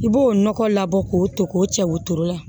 I b'o nɔgɔ labɔ k'o to k'o cɛ wotoro la